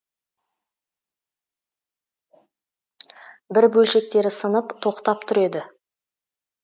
бір бөлшектері сынып тоқтап тұр еді